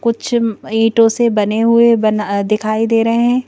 कुछ ईंटों से बने हुए बन दिखाई दे रहे हैं।